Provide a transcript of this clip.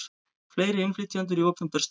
Fleiri innflytjendur í opinber störf